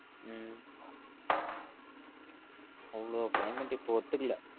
உம் அவளோ climate இப்ப ஒத்துக்கல